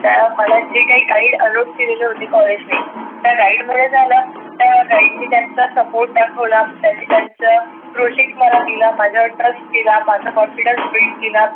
त्या कॉलेज जे काही गाईड alot केले होते कॉलेज ने. त्या गाईड मुळे काय झालं त्या गाईड ने त्यांचा support दाखवला त्यानी त्याचा broceck दिला. माझ्यावर trust केला माझा confidence build केला.